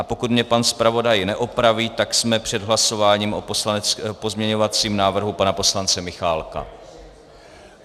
A pokud mě pan zpravodaj neopraví, tak jsme před hlasováním o pozměňovacím návrhu pana poslance Michálka.